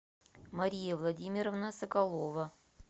мария владимировна соколова